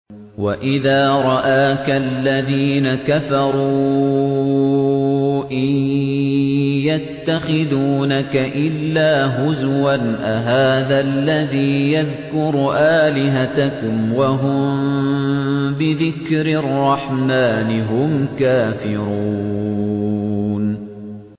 وَإِذَا رَآكَ الَّذِينَ كَفَرُوا إِن يَتَّخِذُونَكَ إِلَّا هُزُوًا أَهَٰذَا الَّذِي يَذْكُرُ آلِهَتَكُمْ وَهُم بِذِكْرِ الرَّحْمَٰنِ هُمْ كَافِرُونَ